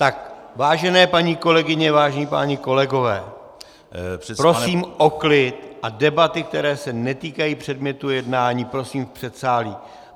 Tak, vážené paní kolegyně, vážení páni kolegové, prosím o klid a debaty, které se netýkají předmětu jednání, prosím v předsálí.